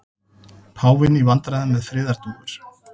Páfinn í vandræðum með friðardúfur